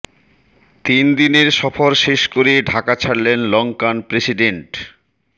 তিন দিনের সফর শেষ করে ঢাকা ছাড়লেন লংকান প্রেসিডেন্ট